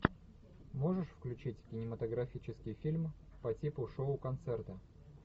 можешь включить кинематографический фильм по типу шоу концерта